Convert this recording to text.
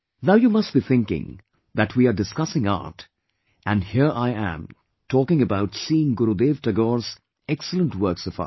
Now you must be thinking that we are discussing art and here I'm talking about seeing Gurudev Tagore's excellent works of art